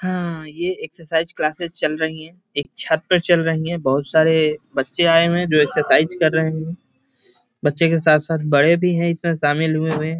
हां ये exercise classes चल रही है एक छत पर चल रही है बहुत सारे बच्चे आए हुए हैं जो एक्सरसाइज कर रहे हैं बच्चों के साथ-साथ बड़े भी है इसमें शामिल हुए हुए।